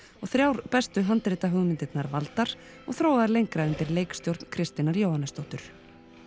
og þrjár bestu valdar og þróaðar lengra undir leikstjórn Kristínar Jóhannesdóttur